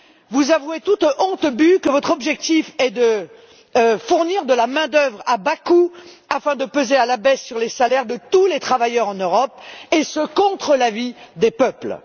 Vous avouez, toute honte bue, que votre objectif est de fournir de la main d'œuvre à bas coût afin de peser à la baisse sur les salaires de tous les travailleurs en Europe, et ce contre l'avis des peuples.